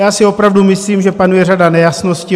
Já si opravdu myslím, že panuje řada nejasností.